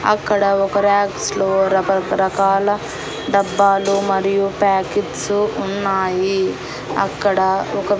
అక్కడ ఒక ర్యాక్స్ లో రక రకాల డబ్బాలు మరియు ప్యాకెట్సు ఉన్నాయి అక్కడ ఒక--